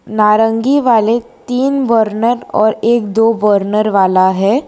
नारंगी वाले तीन बर्नर और एक दो बर्नर वाला है।